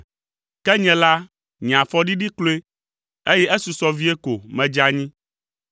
Ke nye la, nye afɔ ɖiɖi kloe, eye esusɔ vie ko medze anyi.